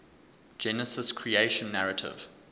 genesis creation narrative